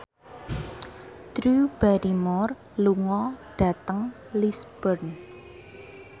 Drew Barrymore lunga dhateng Lisburn